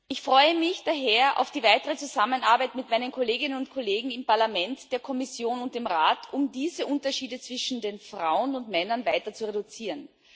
Ich freue mich daher auf die weitere Zusammenarbeit mit meinen Kolleginnen und Kollegen im Parlament, der Kommission und dem Rat, um diese Unterschiede zwischen Frauen und Männern weiter zu reduzieren.